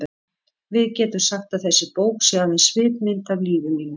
Við getum sagt að þessi bók sé aðeins svipmynd af lífi mínu.